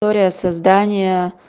история создания